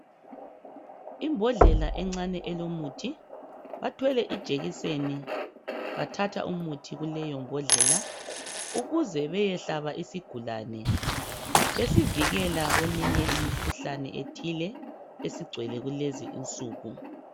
Imbodlela encane elomuthi. Bathwele ijekiseni , bathatha umuthi kuleyombodlela ukuze beyehlaba isigulane besivikela kweminye imikhuhlane ethile esigcwele kulezi nsuku.